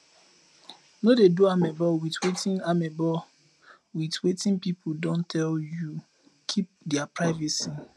no dey do amebo with wetin amebo with wetin pipo don tell you keep their privacy